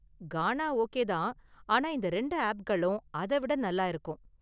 கானா okay தான், ஆனா இந்த இரண்டு ஆப்களும் அதை விட நல்லா இருக்கும்.